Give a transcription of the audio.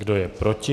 Kdo je proti?